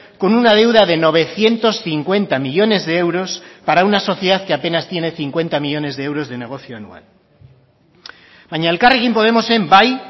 con una deuda de novecientos cincuenta millónes de euros para una sociedad que apenas tiene cincuenta millónes de euros de negocio anual baina elkarrekin podemosen bai